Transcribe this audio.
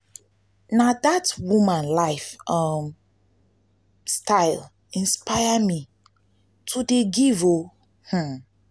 na dat woman life um style inspire me to dey give o. um.